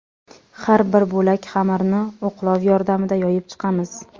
Har bir bo‘lak xamirni o‘qlov yordamida yoyib chiqamiz.